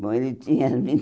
Bom, ele tinha vinte